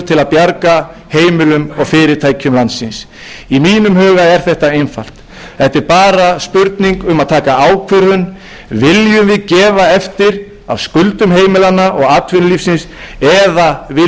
bjarga heimilum og fyrirtækjum landsins í mínum huga er þetta einfalt þetta er bara spurning um að taka ákvörðun viljum við gefa eftir af skuldum heimilanna og atvinnulífsins eða viljum við missa fólk og